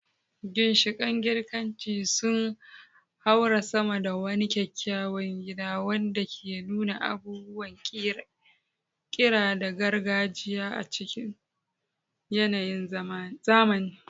Ginshiƙan Girkanci sun haura sama da wani kyakkyawan gida wanda ke nuna abubuwan ƙira na gargajiya a cikin yanayin zamani.